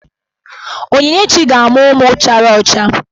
Onyinyechi ga-amụ ụmụ chara ọcha.